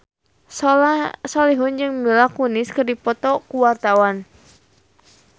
Soleh Solihun jeung Mila Kunis keur dipoto ku wartawan